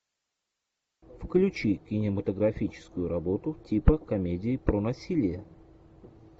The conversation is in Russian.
включи кинематографическую работу типа комедии про насилие